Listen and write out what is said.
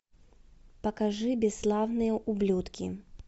покажи бесславные ублюдки